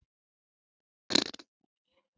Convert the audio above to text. Gerður fer sínar eigin leiðir.